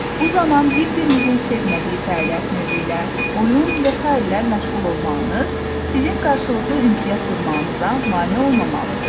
Bu zaman bir-birinizin sevmədiyi fəaliyyət növü ilə, oyun və sairə ilə məşğul olmağınız sizin qarşılıqlı ünsiyyət qurmağınıza mane olmamalıdır.